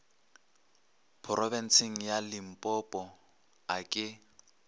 phorobentsheng ya limpopo a ke